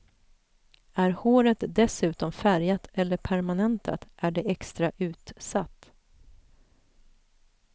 Är håret dessutom färgat eller permanentat är det extra utsatt.